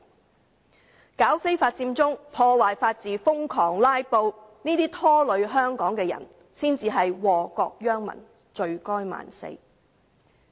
組織非法佔中、破壞法治、瘋狂"拉布"，這些拖累香港的人，才是禍國殃民，罪該萬死。